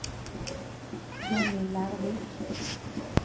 Johnny Lervik